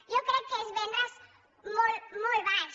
jo crec que és vendre’s molt baix